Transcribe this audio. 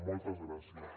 moltes gràcies